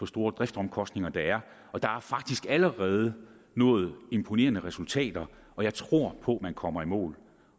store driftsomkostninger der er der er faktisk allerede nået imponerende resultater og jeg tror på at man kommer i mål